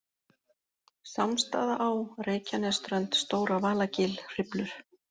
Sámsstaðaá, Reykjanesströnd, Stóra-Valagil, Hriflur